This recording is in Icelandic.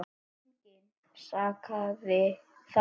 Engan sakaði þar.